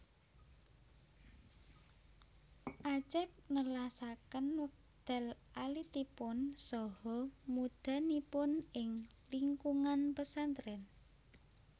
Acep nelasaken wekdal alitipun saha mudhanipun ing lingkungan pesantren